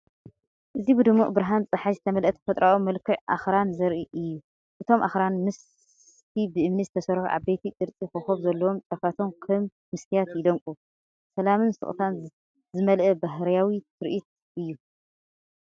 እዚ ብድሙቕ ብርሃን ጸሓይ ዝተመልአ ተፈጥሮኣዊ መልክዕ ኣኽራን ዘርኢ እዩ። እቶም ኣኽራን፡ ምስቲ ብእምኒ እተሰርሑ ዓበይቲ፡ ቅርጺ ኮኾብ ዘለዎም ጫፋቶም፡ ከም መስትያት ይደምቁ። ሰላምን ስቕታን ዝመልአ ባህርያዊ ትርኢት እዩ።